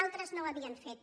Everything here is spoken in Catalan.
altres no ho havien fet